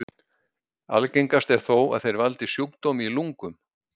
Algengast er þó að þeir valdi sjúkdómi í lungum.